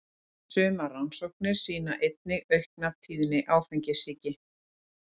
Sumar rannsóknir sýna einnig aukna tíðni áfengissýki.